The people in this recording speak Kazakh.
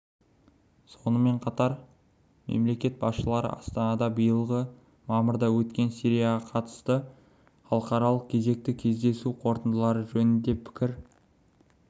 сонымен қатар мемлекет басшылары астанада биылғы мамырда өткен сирияға қатысты халықаралық кезекті кездесу қорытындылары жөнінде пікір